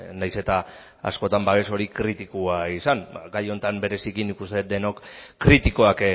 nahiz eta askotan babes hori kritikoa izan ba gai honetan bereziki nik uste dut denok kritikoak